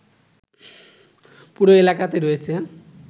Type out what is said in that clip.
পুরো এলাকাতে রয়েছে